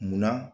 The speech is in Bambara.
Munna